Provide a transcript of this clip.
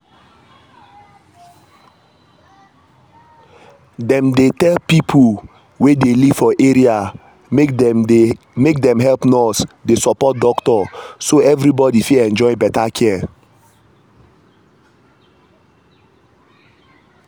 dem dey tell people wey dey live for area make dem help nurse dey support doctor so everybody fit enjoy better care